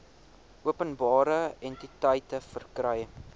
openbare entiteite verkry